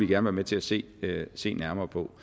være med til at se se nærmere på